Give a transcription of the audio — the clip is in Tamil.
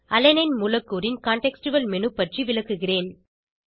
அலனைன் மூலக்கூறின் சூழ்நிலை சார்ந்த மேனு பற்றி விளக்குகிறேன்